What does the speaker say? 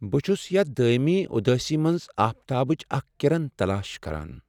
بہٕ چُھس یتھ دٲیمی ادٲسی منٛز آفتابٕچ اکھ کرن تلاش کران۔